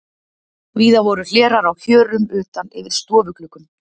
Víða voru hlerar á hjörum utan yfir stofugluggum.